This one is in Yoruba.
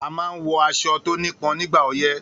A man nwọ aṣọ tónípon nígbà ọyé.